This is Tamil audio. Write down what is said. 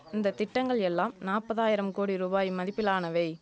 இந்த திட்டங்கள் எல்லாம் நாப்பதாயிரம் கோடி ரூபாய் மதிப்பிலானவை